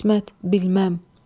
İsmət, bilməm.